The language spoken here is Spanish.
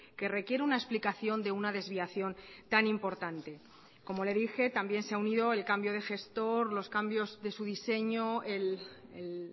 que requiere una explicación de una desviación tan importante como le dije también se ha unido el cambio de gestor los cambios de su diseño el